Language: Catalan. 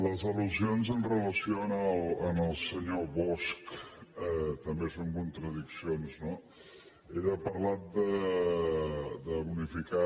les al·lusions amb relació al senyor bosch també són contradiccions no ell ha parlat de bonificar